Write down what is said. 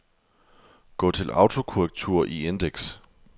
Gå til autokorrektur i indeks.